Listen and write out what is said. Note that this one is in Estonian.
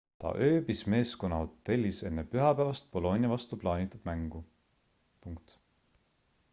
ta ööbis meeskonna hotellis enne pühapäevast bolonia vastu plaanitud mängu